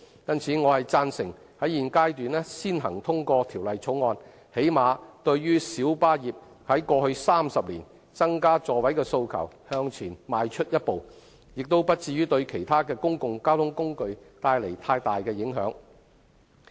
因此，我贊成現階段先行通過《條例草案》，最低限度對於小巴業界過去30年增加座位的訴求向前邁出一步，亦不至於對其他公共交通工具帶來太大的影響。